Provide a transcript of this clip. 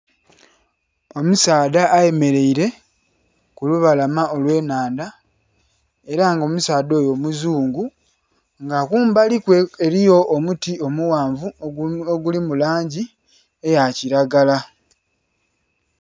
Omusaadha ayemereire kulubalama olwe nhandha era nga omusaadha oyo muzungu nga kumbali kwe eriyo omuti omughanvu oguli mu langi eya kilagala